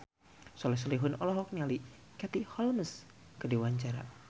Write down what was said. Soleh Solihun olohok ningali Katie Holmes keur diwawancara